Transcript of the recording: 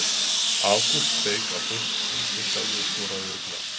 Ágúst steik á punktinn sjálfur og skoraði örugglega.